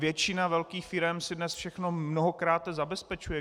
Většina velkých firem si dnes všechno mnohokrát zabezpečuje.